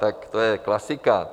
Tak to je klasika.